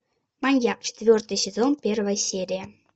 маньяк четвертый сезон первая серия